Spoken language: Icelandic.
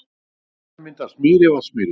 Innar í voginum myndaðist mýri, Vatnsmýrin.